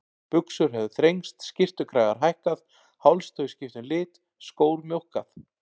Buxur höfðu þrengst, skyrtukragar hækkað, hálstau skipt um lit, skór mjókkað.